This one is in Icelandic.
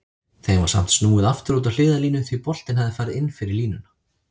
Þeim var samt snúið aftur út á hliðarlínu því boltinn hafði farið inn fyrir línuna.